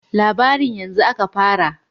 "Labarin yanzu aka fara."